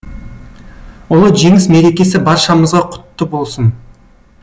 ұлы жеңіс мерекесі баршамызға құтты болсын